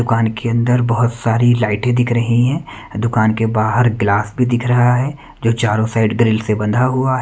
दुकान के अंदर बहुत सारी लाइटें दिख रही हैं दुकान के बाहर ग्लास भी दिख रहा है जो चारों साइड ग्रिल से बंधा हुआ है।